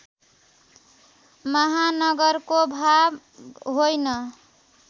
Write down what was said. महानगरको भाग होइन